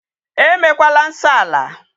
E mekwala nsọ ala.